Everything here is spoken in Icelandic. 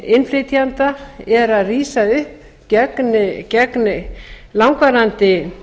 innflytjenda er að rísa upp gegn langvarandi